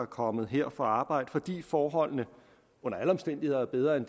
kommet her for at arbejde fordi forholdene under alle omstændigheder er bedre end